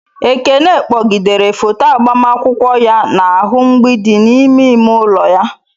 Ekene kpọgidere foto agbamakwụkwọ ya n'ahụ mgbidi n'ime ime ụlọ ya.